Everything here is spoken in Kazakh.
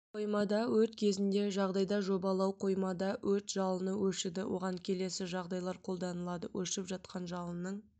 қоймада өрт кезінде жағдайда жобалау қоймада өрт жалыны өршіді оған келесі жағдайлар қолданылады өршіп жатқан жалынның